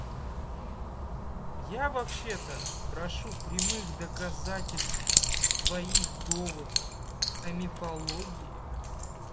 я вообще-то прошу прямых доказательств твоих доводов о мифологии